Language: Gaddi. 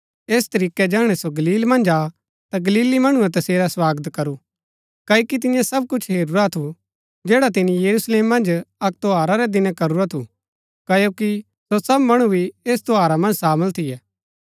ऐस तरीकै जैहणै सो गलील मन्ज आ ता गलीली मणुऐ तसेरा स्वागत करू क्ओकि तियें सब कुछ हेरूरा थू जैडा तिनी यरूशलेम मन्ज अक्क त्यौहारा रै दिनै करूरा थू क्ओकि सो सब मणु भी ऐस त्यौहारा मन्ज सामल थियै